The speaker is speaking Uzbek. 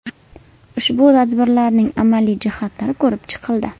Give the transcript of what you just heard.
Ushbu tadbirlarning amaliy jihatlari ko‘rib chiqildi.